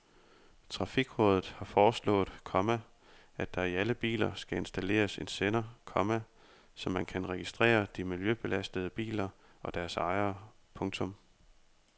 Trafikrådet har foreslået, komma at der i alle biler skal installeres en sender, komma så man kan registrere de miljøbelastende biler og deres ejere. punktum